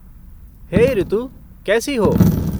हे ऋतु, कैसी हो?